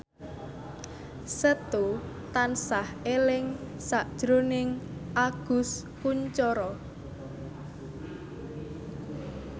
Setu tansah eling sakjroning Agus Kuncoro